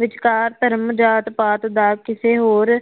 ਵਿਚਕਾਰ ਧਰਮ ਜਾਤ ਪਾਤ ਦਾ ਕਿਸੇ ਹੋਰ